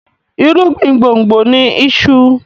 irugbin gbongbo ní iṣu.